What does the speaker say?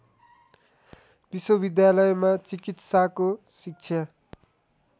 विश्वविद्यालयमा चिकित्साको शिक्षा